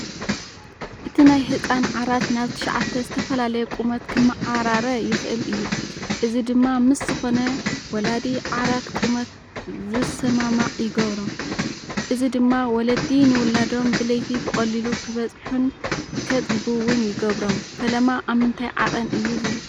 እቲ ናይ ህጻን ዓራት ናብ 9 ዝተፈላለየ ቁመት ክመዓራረ ይኽእል እዩ፣ እዚ ድማ ምስ ዝኾነ ወላዲ ዓራት ቁመት ዝሰማማዕ ይገብሮ። እዚ ድማ ወለዲ ንውላዶም ብለይቲ ብቐሊሉ ክበጽሑን ከጥብዉን ይገብሮም። ፈለማ ኣብ ምንታይ ዓቐን እዩ ዝርከብ?